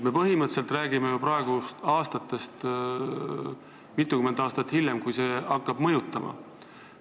Me põhimõtteliselt räägime ju tulevikust mitukümmend aastat hiljem, kui see muudatus hakkab mõjuma.